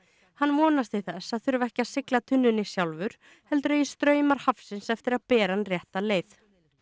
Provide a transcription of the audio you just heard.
hann vonast til þess að þurfa ekki að sigla tunnunni sjálfur heldur eigi straumar hafsins eftir að bera hann rétta leið